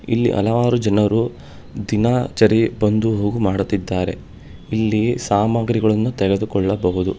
ಇಲ್ಲಿ ಹಲವಾರು ಜನರು ದಿನಾ ಚರಿ ಬಂದು ಹೋಗು ಮಾಡುತ್ತಿದ್ದಾರೆ ಇಲ್ಲಿ ಸಾಮಾಗ್ರಿಗಳನ್ನು ತೆಗೆದುಕೊಳ್ಳಬಹುದು.